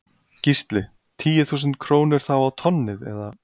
Gísli: Tíu þúsund krónur þá á tonnið eða?